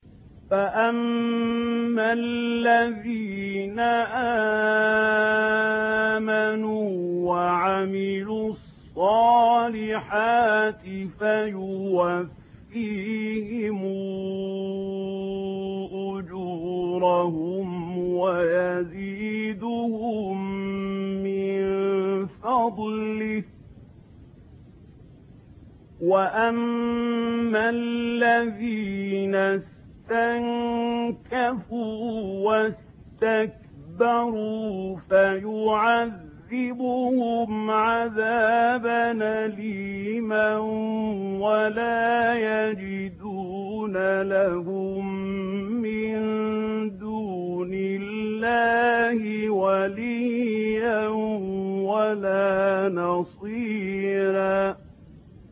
فَأَمَّا الَّذِينَ آمَنُوا وَعَمِلُوا الصَّالِحَاتِ فَيُوَفِّيهِمْ أُجُورَهُمْ وَيَزِيدُهُم مِّن فَضْلِهِ ۖ وَأَمَّا الَّذِينَ اسْتَنكَفُوا وَاسْتَكْبَرُوا فَيُعَذِّبُهُمْ عَذَابًا أَلِيمًا وَلَا يَجِدُونَ لَهُم مِّن دُونِ اللَّهِ وَلِيًّا وَلَا نَصِيرًا